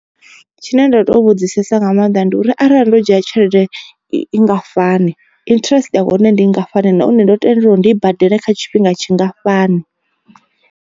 Tshine nda to vhudzisesa nga maanḓa ndi uri arali ndo dzhia tshelede i ngafhani interest ya hone ndi ngafhani nahone ndo tendelwa uri ndi i badele kha tshifhinga tshingafhani.